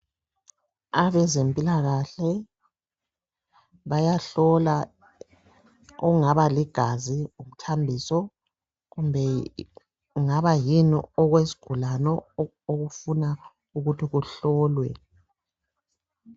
Abezimpilakahle bayahlola okungaba lingazi, umthambiso kumbe kungabayini okwesigulane okuthi kuhlolwe.